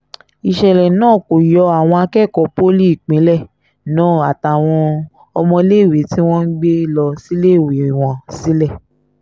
ìṣẹ̀lẹ̀ náà kò yọ àwọn akẹ́kọ̀ọ́ poli ìpínlẹ̀ náà àtàwọn ọmọléèwé tí wọ́n ń gbé lọ síléèwé wọn sílẹ̀